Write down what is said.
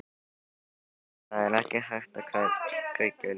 Linda: Og það er ekki hægt að kveikja ljósin?